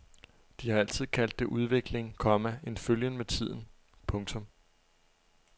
De har altid kaldt det udvikling, komma en følgen med tiden. punktum